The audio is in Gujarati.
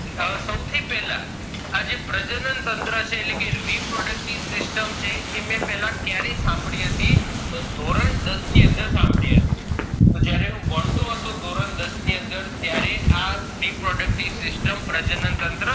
આ જે પ્રજનન છે reproductive system છે એ મેં પેલા કયારે સાંભળી હતી તો ધોરણ દસ ની અંદર સાંભળી હતી તોહ જયારે હું ભણતો હતો ધોરણ દસ ની અંદર ત્યારે આ reproductive system પ્રજનનતંત્ર